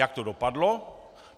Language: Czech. Jak to dopadlo?